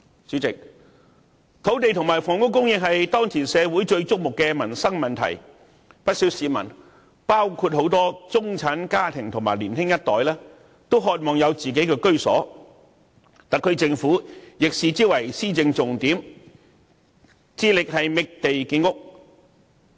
主席，土地和房屋供應是社會當前最矚目的民生問題，不少市民，包括很多中產家庭和年輕一代也渴望有自己的居所，特區政府亦把之視為施政重點，致力覓地建屋。